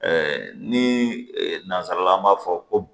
ni nanzarala an b'a fɔ ko